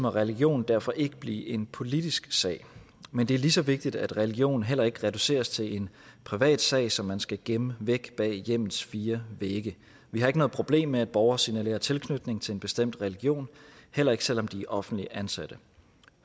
religion derfor ikke blive en politisk sag men det er lige så vigtigt at religion heller ikke reduceres til en privatsag som man skal gemme væk bag hjemmets fire vægge vi har ikke noget problem med at borgere signalerer tilknytning til en bestemt religion heller ikke selv om de er offentligt ansatte